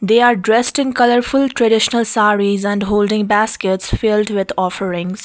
they are dressed in colourful traditional sarees and holding baskets filled with offerings.